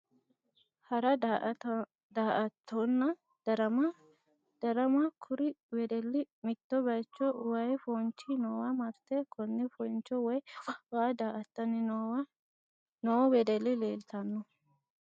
Hara daa"attonna darama darama kuri wedelli mitto baycho wayi foonchi noowa marte konne fooncho woyi waa daa"attanni noo wedelli leeltanno